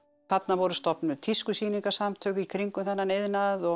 þarna voru stofnuð í kringum þennan iðnað og